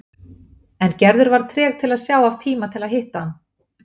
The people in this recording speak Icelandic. En Gerður var treg til að sjá af tíma til að hitta hann.